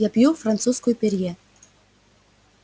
я пью французскую перье